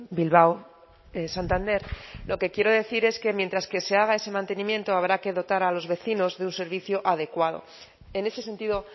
bilbao santander lo que quiero decir es que mientras que se haga ese mantenimiento habrá que dotar a los vecinos de un servicio adecuado en ese sentido